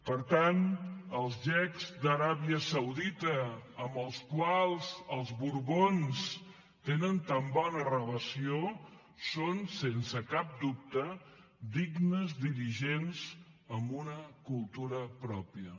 per tant els xeics d’aràbia saudita amb els quals els borbons tenen tan bona relació són sense cap dubte dignes dirigents amb una cultura pròpia